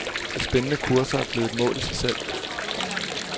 De spændende kurser er blevet et mål i sig selv.